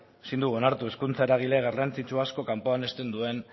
ezin dugu onartu hezkuntza eragile garrantzitsu asko kanpoan uzten duen